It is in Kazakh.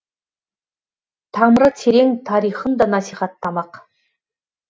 тамыры терең тарихын да насихаттамақ